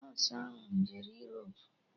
Nọsụ ahụ jere Europu